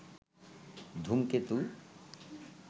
ধূমকেতু